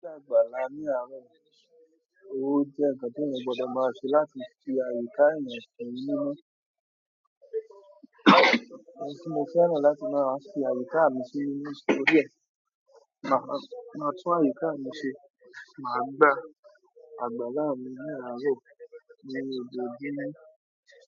Àgbàlá mìírà ó jẹ́ nkan tí èèyàn gbọdọ máa ṣe láti fi àyíká èèyàn si mímọ̀. Ohun ti mo fi àyíká mi si nítorí e. Màá tún àyíká miṣe máa gba àgbàlá mì ni àárọ̀ ní òjòojumo.